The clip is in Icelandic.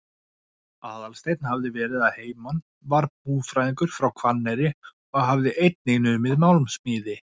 Aðalsteinn hafði verið að heiman, var búfræðingur frá Hvanneyri og hafði einnig numið málmsmíði.